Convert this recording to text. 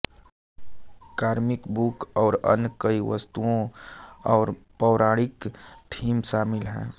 comic book और अन्य कई वस्तुएं और पौराणिक थीम शामिल हैं